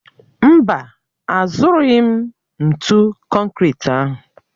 Mba, azụrụghị m ntụ konkịtị ahụ